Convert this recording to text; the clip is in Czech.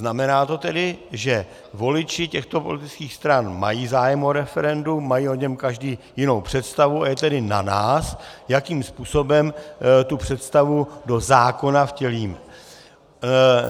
Znamená to tedy, že voliči těchto politických stran mají zájem o referendum, mají o něm každý jinou představu, a je tedy na nás, jakým způsobem tu představu do zákona vtělíme.